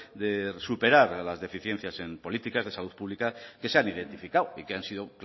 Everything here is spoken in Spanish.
de superar las deficiencias en políticas de salud pública que se han identificado y que han sido